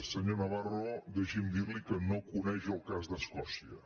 senyor navarro deixi’m dirli que no coneix el cas d’escòcia